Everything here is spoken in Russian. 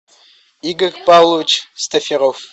игорь павлович стаферов